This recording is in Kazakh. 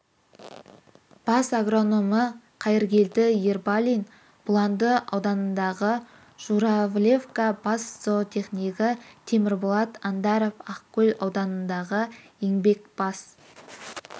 бас агрономы қайыргелді ербалин бұланды ауданындағы журавлевка бас зоотехнигі темірболат андаров ақкөл ауданындағы еңбек бас